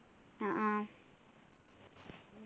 അഹ് ആഹ്